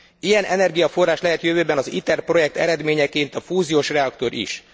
Ilyen energiaforrás lehet jövőben az ITER projekt eredményeként a fúziós reaktor is.